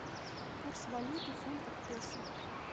курс валюты фунта к песо